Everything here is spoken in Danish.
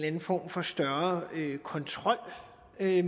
anden form for større kontrol med det